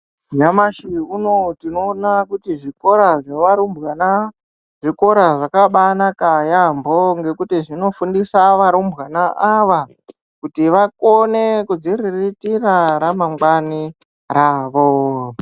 Nyamashi uno tinoona kuti zvikora zvevarumbwana zvikora zvakambanaka yampho nekuti zvinofundisa varumbwana vana ava kuti vakone kuzviriritira ramangwani ravo.